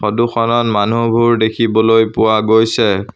ফটোখনত মানুহবোৰ দেখিবলৈ পোৱা গৈছে।